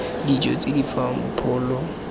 dijo tse di fang pholo